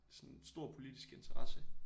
Sådan stor politisk interesse